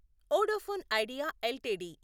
Vodafone Idea LTD